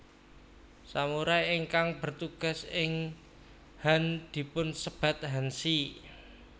Samurai ingkang bertugas ing han dipunsebat hanshi